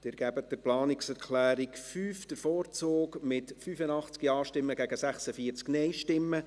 Sie geben der Planungserklärung 5 den Vorzug, mit 85 Ja- gegen 46 Nein-Stimmen.